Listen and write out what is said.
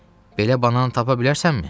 Belə banan tapa bilərsənmi?